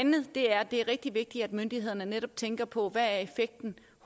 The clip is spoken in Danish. det er er rigtig vigtigt at myndighederne netop tænker på hvad effekten